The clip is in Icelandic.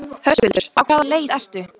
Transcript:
Höskuldur: Á hvaða leið ertu?